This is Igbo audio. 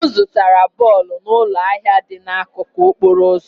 M zụtara bọlbụ n'ụlọ ahịa dị n'akụkụ okporo ụzọ